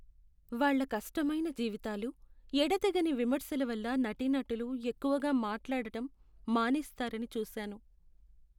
వాళ్ళ కష్టమైన జీవితాలు, ఎడతెగని విమర్శల వల్ల నటీనటులు ఎక్కువగా మాట్లాడటం మానేస్తారని చూసాను.